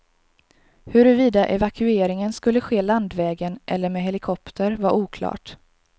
Huruvida evakueringen skulle ske landvägen eller med helikopter var oklart.